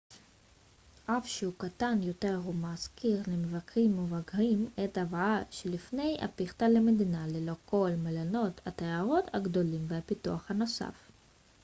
אף שהוא קטן יותר הוא מזכיר למבקרים מבוגרים את הוואי שלפני הפיכתה למדינה ללא כל מלונות התיירות הגדולים והפיתוח הנוסף